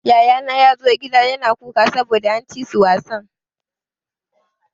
Yayana ya zo gida yana kuka saboda an ci su wasan.